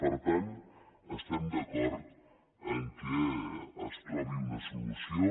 per tant estem d’acord que es trobi una solució